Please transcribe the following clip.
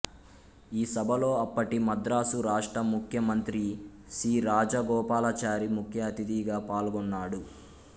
ఈ సభలో అప్పటి మద్రాసు రాష్ట్ర ముఖ్యమంత్రి సి రాజగోపాలాచారి ముఖ్య అతిథిగా పాల్గొన్నాడు